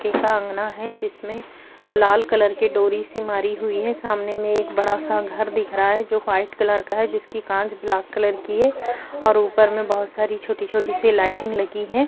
पक्का अंगना है जिसमे लाल कलर की डोरी सी मरी हुई है। सामने में एक बड़ा सा घर दिख रहा है जो व्हाइट कलर का है। जिसकी कांच ब्लैक कलर की है और ऊपर में बहुत सारी छोटी छोटी सी लाइटिंग लगी है।